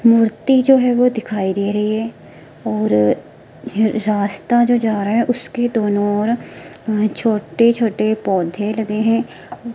मूर्ति जो है वो दिखाई दे रही है और ये रास्ता जो जा रहा है उसके दोनों ओर छोटे छोटे पौधे लगे हैं।